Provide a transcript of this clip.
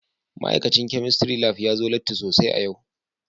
Ma'aikacin Chemistry Lab ya zo latti sosai a yau